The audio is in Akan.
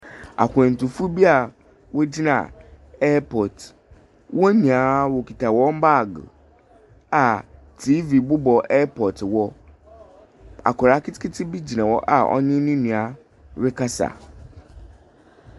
Akwantufo bi a wɔgyina ɛɛpɔt. Wɔn nyinaa wɔkita wɔn baag a tiivi bobɔ ɛɛpɔt hɔ. Akoraa ketekete bi gyina hɔ a ɔne ne nua rekasa.